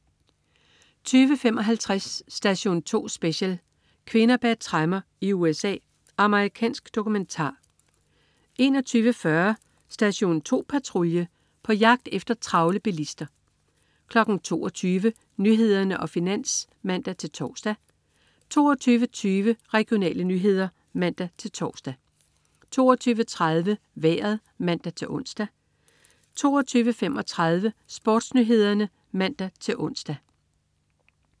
20.55 Station 2 Special: Kvinder bag tremmer i USA. Amerikansk dokumentar 21.40 Station 2 Patrulje. På jagt efter travle bilister 22.00 Nyhederne og Finans (man-tors) 22.20 Regionale nyheder (man-tors) 22.30 Vejret (man-ons) 22.35 SportsNyhederne (man-ons)